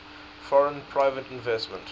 foreign private investment